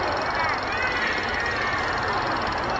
Ləbbeyk, Ya Hüseyn! Ləbbeyk, Ya Hüseyn!